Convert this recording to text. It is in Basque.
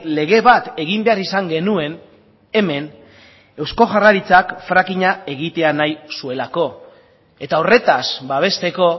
lege bat egin behar izan genuen hemen eusko jaurlaritzak frackinga egitea nahi zuelako eta horretaz babesteko